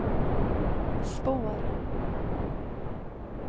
spår